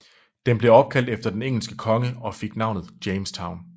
Den blev opkaldt efter den engelske konge og fik navnet Jamestown